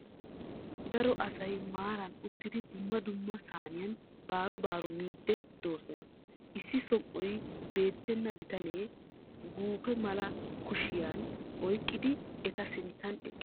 Daro asay maaran uttidi dumma dumma saaniyan baro baro miidi doosona. issi som"oy beettenna bittanee guufe malaa kushiyan oyqqidi eta sinttan eqqiis.